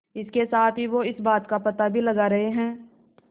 इसके साथ ही वो इस बात का पता भी लगा रहे हैं